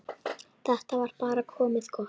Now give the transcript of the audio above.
Þetta var bara komið gott.